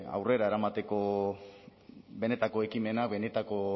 aurrera eramateko benetako ekimena benetako